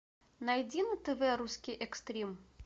найди на тв русский экстрим